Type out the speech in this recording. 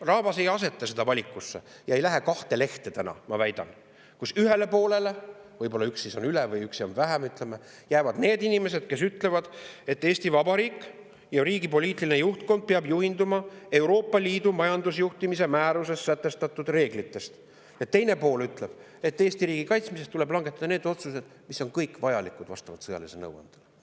Rahvas ei aseta seda valikut ega lähe kahte lehte, ma väidan, nii et ühele poole – võib-olla, ütleme, üks siis on üle või üks on vähem – jäävad need inimesed, kes ütlevad, et Eesti Vabariik ja riigi poliitiline juhtkond peavad juhinduma Euroopa Liidu majandusjuhtimise määruses sätestatud reeglitest, ja teine pool ütleb, et Eesti riigi kaitsmiseks tuleb langetada need otsused, mis on kõik vastavalt sõjalisele nõuandele vajalikud.